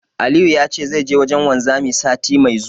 Aliyu ya ce zai je wajen wanzami, sati mai zuwa.